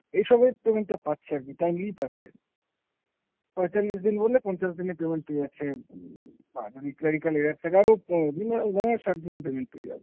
এসবের payment টা পাচ্ছে আরকি timely পাচ্ছে। পঁয়তাল্লিশ দিন বললে পঞ্চাশ দিনে payment পেয়ে যাচ্ছে উম বা যদি clerical error থাকে। আরও উম minimum ধরো ষাট দিনে payment পেয়ে যাবে।